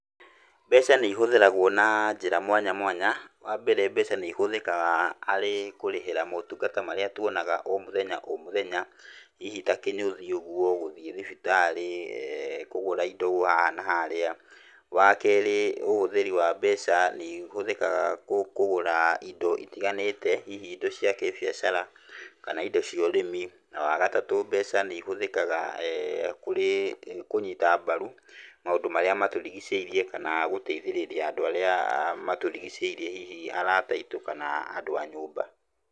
Mbeca nĩ ihũthĩragwo na njĩra mwanya mwanya. Wa mbere, mbeca nĩihũthĩkaga harĩ kũrĩhĩra motungata marĩa tuonaga o mũthenya o mũthenya, hihi ta kĩnyũthi ũguo, gũthiĩ thibitarĩ, kũgũra indo haha na harĩa. Wa keerĩ, ũhũthĩri wa mbeca nĩ ihũthĩkaga kũgũra indo itiganĩte, hihi indo cia kĩbiacara kana indo cia ũrĩmi na wa gatatũ, mbeca nĩ ĩhũthĩkaga kũrĩ kũnyita mbaru maũndũ marĩa matũrigicĩirie kana gũteithĩrĩria andũ arĩa matũrigicĩirie hihi arata aitũ kana andũ a nyũmba.